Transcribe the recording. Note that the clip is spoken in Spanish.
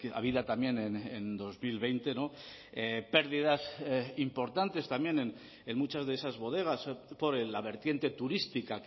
habida también en dos mil veinte pérdidas importantes también en muchas de esas bodegas por la vertiente turística